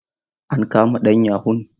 An kama ɗan yahun?